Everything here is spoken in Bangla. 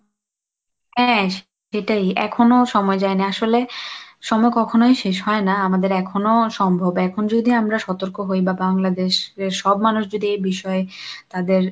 হ্যাঁ, যেটাই এখনো সময় যায় না, আসলে সময় কখনোই শেষ হয় না, আমাদের এখনো সম্ভব এখন যদি আমরা সতর্ক হই বা বাংলাদেশের সব মানুষ যদি এই বিষয়ে তাদের